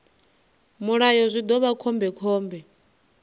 mulayo zwi ḓo vha khombekhombe